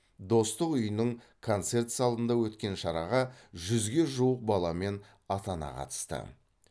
достық үйінің концерт залында өткен шараға жүзге жуық бала мен ата ана қатысты